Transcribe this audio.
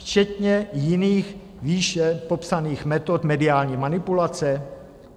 Včetně jiných, výše popsaných metod mediální manipulace?